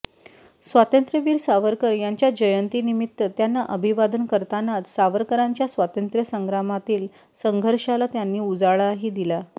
स्वातंत्र्यवीर सावरकर यांच्या जयंती निमित्त त्यांना अभिवादन करतानाच सावरकरांच्या स्वातंत्र्य संग्रामातील संघर्षाला त्यांनी उजाळाही दिला